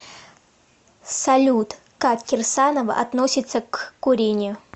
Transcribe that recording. салют как кирсанова относиться к курению